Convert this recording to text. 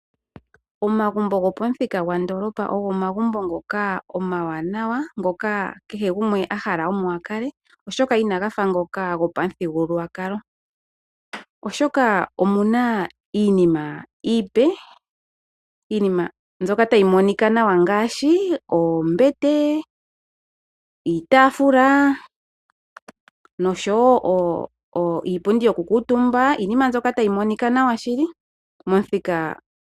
Omagumbo gopamuthika gopandoolopa ogo omagumbo ngoka omawanawa ngoka kehe gumwe ahala omo akale oahoka inaga fa ngoka gopamuthigululwakalo ,oshoka omuna iinima mbyoka iipe ,iinima mbyoka tayi monika nawa ngaashi oombete ,iitaafula noshowo iipundi yokukuutumba iinima mbyoka tayi monika nawa shili.